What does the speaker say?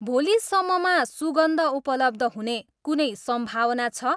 भोलि सम्ममा सुगन्ध उपलब्ध हुने कुनै सम्भावना छ?